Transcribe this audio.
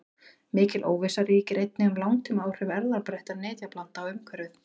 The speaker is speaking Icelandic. Mikil óvissa ríkir einnig um langtímaáhrif erfðabreyttra nytjaplantna á umhverfið.